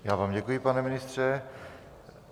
Já vám děkuji, pane ministře.